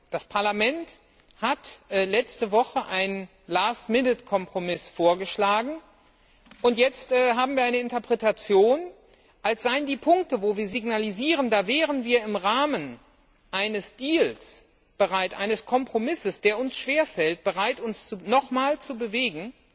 Das Parlament hat letzte Woche einen Last minute Kompromiss vorgeschlagen, und jetzt haben wir eine Interpretation, als seien die Punkte, wo wir signalisieren, da wären wir im Rahmen eines Kompromisses, der uns schwerfällt, bereit, uns nochmals zu bewegen,